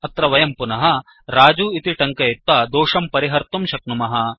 अत्र वयं पुनः रजु इति टङ्कयित्वा दोषं परिहर्तुं शक्नुमः